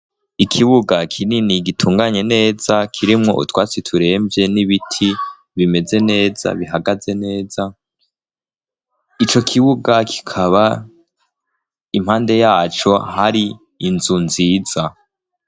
Ikibuga kinini gitunganye neza kirimwo utwatsi turemvye n'ibiti bimeze neza bihagaze neza, ico kibuga kikaba impande yaco hari inzu nziza.